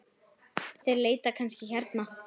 Þeir leita kannski hérna.